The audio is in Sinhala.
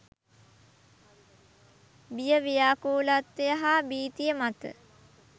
බිය ව්‍යාකූලත්වය හා භීතිය මත